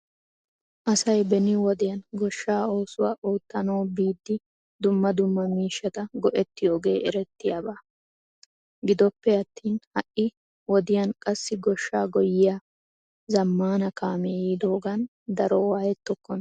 Asay beni wodiyan goshshaa oosuwa oottanawu biidi dumma dumma miishata go'etiyooge eretiyaaba. Gidoppe attin ha'i wodiyan qassi goshshaa goyyiyaa zamaana kaamee yiidogan daro waayettokkona.